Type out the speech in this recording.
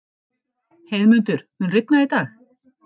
Heiðmundur, mun rigna í dag?